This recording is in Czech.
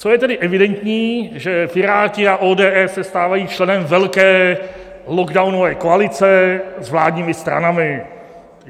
Co je tedy evidentní, že Piráti a ODS se stávají členem velké lockdownové koalice s vládními stranami.